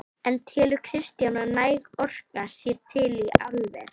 En telur Kristján að næg orka sé til í álver?